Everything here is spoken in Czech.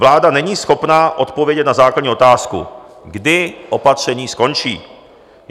Vláda není schopna odpovědět na základní otázku - kdy opatření skončí.